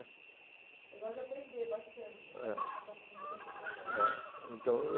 Eu gosto de aprender bastante.